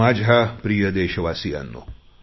माझ्या प्रिय देशवासियांनो